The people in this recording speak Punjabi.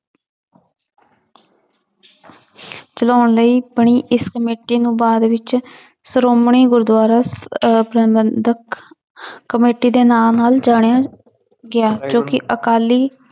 ਚਲਾਉਣ ਲਈ ਬਣੀ ਇਸ ਕਮੇਟੀ ਨੂੰ ਬਾਅਦ ਵਿੱਚ ਸ਼੍ਰੋਮਣੀ ਗੁਰਦੁਆਰਾ ਅਹ ਪ੍ਰਬੰਧਕ ਕਮੇਟੀ ਦੇ ਨਾਂ ਨਾਲ ਜਾਣਿਆ ਗਿਆ ਜੋ ਕਿ ਅਕਾਲੀ